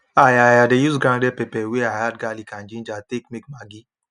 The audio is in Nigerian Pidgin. i i dey use grounded pepper wey i add garlic and ginger take make maggi